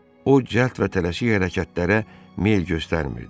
O cəld və tələsik hərəkətlərə meyl göstərmirdi.